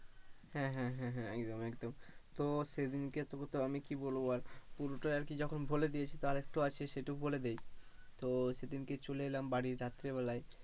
হ্যাঁ হ্যাঁ হ্যাঁ, একদম একদম, তো সেদিনকে আমি কি বলবো বল, পুরোটাই আর কি যখন বলে দিয়েছি, আরেকটু আছে সেটাও বলে দি, তো সেদিনকে চলে এলাম বাড়ি রাত্রে বেলায়,